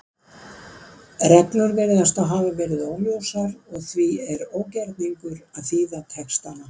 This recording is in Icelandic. Reglur virðast þá hafa verið óljósar og því er ógerningur að þýða textana.